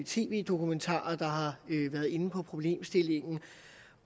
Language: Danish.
tv dokumentarer der har været inde på problemstillingen